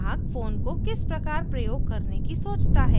ग्राहक फ़ोन को किस प्रकार प्रयोग करने की सोचता है